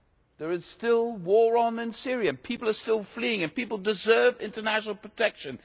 There is still a war in Syria, people are still fleeing and people deserve international protection.